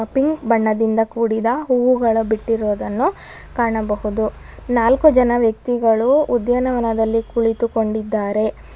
Pink ಬಣ್ಣದಿಂದ ಕೂಡಿದ ಹೂವುಗಳು ಬಿಟ್ಟಿರುವುದನ್ನು ಕಾಣಬಹುದು ನಾಲ್ಕು ಜನ ವ್ಯಕ್ತಿಗಳು ಉಧ್ಯಾನವನದಲ್ಲಿ ಕುಳಿತುಕೊಂಡಿದ್ದಾರೆ.